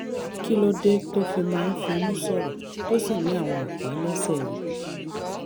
kí ló dé tó fi máa ń fimú sọ̀rọ̀ tó sì ní àwọn àpá lẹ́sẹ̀ rẹ?